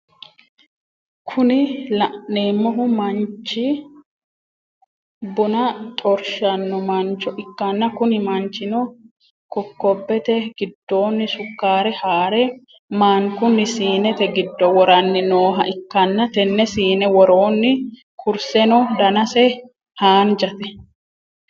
Kuni laneemmohu manchchi buna xorshaanno mancho ikkanna Kuni manchino kokobete gidoonni sukaaare haare maankkunni siiinete giddo woranni nooha ikkanna tenne siine woroonni kurseno danase haaanjate